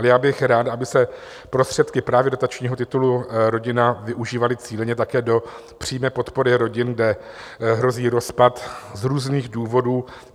Ale já bych rád, aby se prostředky právě dotačního titulu Rodina využívaly cíleně také do přímé podpory rodin, kde hrozí rozpad z různých důvodů.